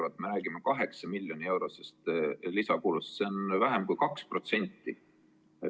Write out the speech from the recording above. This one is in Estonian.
Meie aga räägime 8 miljoni euro suurusest lisakulust, see on vähem kui 2%.